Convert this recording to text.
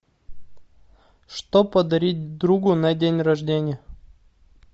что подарить другу на день рождения